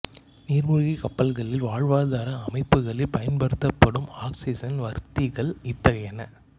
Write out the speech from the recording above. நீர்மூழ்கிக் கப்பல்களில் வாழ்வாதார அமைப்புகளில் பயன்படுத்தப்படும் ஆக்சிசன் வர்த்திகள் இத்தகையன